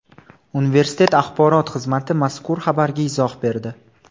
Universitet axborot xizmati mazkur xabarga izoh berdi .